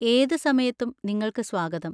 ഏത് സമയത്തും നിങ്ങൾക്ക് സ്വാഗതം!